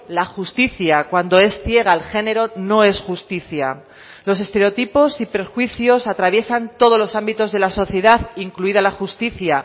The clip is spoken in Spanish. la justicia cuando es ciega el género no es justicia los estereotipos y perjuicios atraviesan todos los ámbitos de la sociedad incluida la justicia